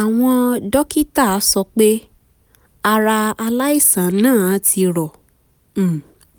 àwọn dókítà sọ pé ara aláìsàn náà ti rọ um